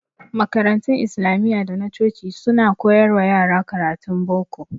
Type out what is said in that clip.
Makarantun Islamiyya da na coci su ma suna koyar wa yara karatun boko.